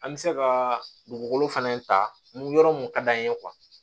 An bɛ se ka dugukolo fɛnɛ ta yɔrɔ mun ka d'an ye